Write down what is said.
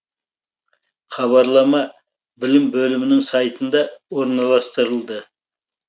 хабарлама білім бөлімінің сайтында орналастырылды